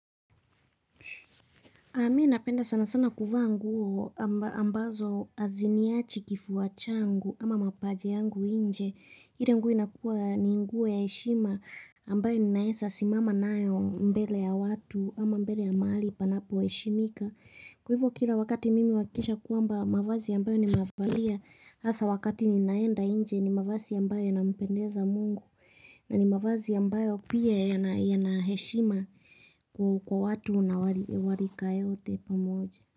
Mi napenda sana sana kuvaa nguo ambazo haziniachi kifua changu ama mapaja yangu nje. Ile nguo inakuwa ni nguo ya heshima ambayo ninaeza simama nayo mbele ya watu ama mbele ya mahali panapo heshimika. Kwa hivo kila wakati mimi huhakikisha kwamba mavazi ambayo nimeyavalia. Hasa wakati ninaenda nje ni mavazi ya ambayo yana mpendeza mungu. Na ni mavazi ya ambayo pia yanaheshima kwa wa watu na wa rika yote pamoja.